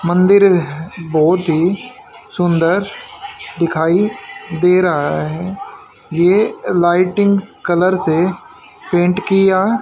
मंदिर बहोत ही सुंदर दिखाई दे रहा है ये लाइटिंग कलर से पेंट किया--